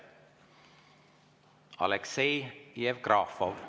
Aleksei Jevgrafov.